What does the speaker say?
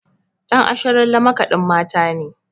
Ɗan Asharalle makaɗin Mata ne.